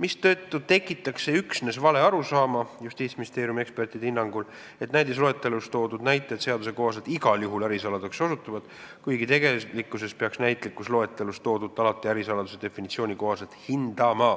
mistõttu tekitaks see Justiitsministeeriumi ekspertide hinnangul üksnes valearusaama, et näidisloetelus toodud näited osutuvad seaduse kohaselt igal juhul ärisaladuseks, kuigi tegelikkuses peaks näitlikus loetelus toodut alati ärisaladuse definitsiooni kohaselt hindama.